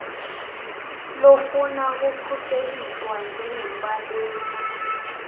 lofuna kukhuseliswa njengembaleki